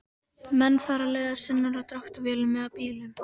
Menn fara leiðar sinnar á dráttarvélum eða bílum.